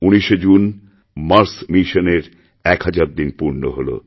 ১৯শে June Mars mission এর এক হাজার দিনপূর্ণ হল